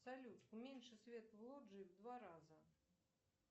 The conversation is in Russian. салют уменьши свет в лоджии в два раза